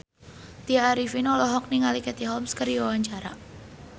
Tya Arifin olohok ningali Katie Holmes keur diwawancara